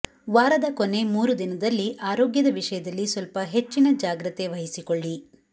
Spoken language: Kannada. ವಾರದ ಕೊನೆ ಮೂರು ದಿನದಲ್ಲಿ ಆರೋಗ್ಯದ ವಿಷಯದಲ್ಲಿ ಸ್ವಲ್ಪ ಹೆಚ್ಚಿನ ಜಾಗ್ರತೆ ವಹಿಸಿಕೊಳ್ಳಿ